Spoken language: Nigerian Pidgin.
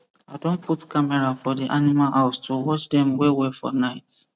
i don put camera for di animal house to watch dem wellwell for night